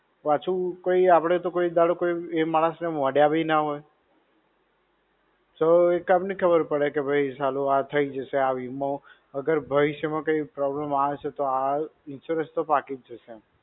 પાછું કોઈ આપણે તો કોઈ દહાડો કોઈ એ માણસને મળ્યા બી ના હોય. તો કેમ ની ખબર પડે કે ભૈ સાલું કે આ થઇ જાશે, આ વીમો. અગર ભવિષ્ય માં કોઈ problem આવશે તો આ insurance તો પાકી જ જશે એમ.